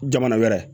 Jamana wɛrɛ